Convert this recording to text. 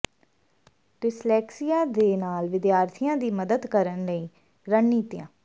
dyslexia ਦੇ ਨਾਲ ਵਿਦਿਆਰਥੀਆਂ ਦੀ ਮਦਦ ਕਰਨ ਦੀਆਂ ਰਣਨੀਤੀਆਂ